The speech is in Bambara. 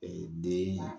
den